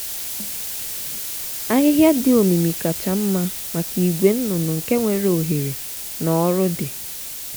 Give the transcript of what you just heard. ahịhịa dị omimi kacha mma maka ìgwè nnụnụ nke nwere ohere na ọrụ dị.